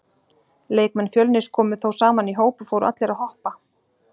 Leikmenn Fjölnis komu þá saman í hóp og fóru allir að hoppa.